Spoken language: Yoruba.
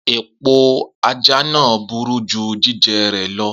Epo aja naa buru ju jijẹ rẹ lọ.